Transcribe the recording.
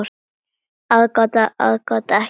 Aðgát, aðgát, ekki mátti nykra.